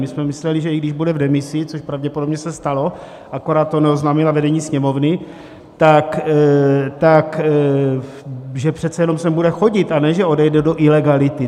My jsme mysleli, že i když bude v demisi, což pravděpodobně se stalo, akorát to neoznámila vedení Sněmovny, tak že přece jenom sem bude chodit, a ne že odejde do ilegality.